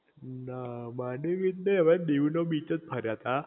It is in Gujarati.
ના માંડવી બીચ નઇ અમે દીવ નો બીચ જ ફર્યા તા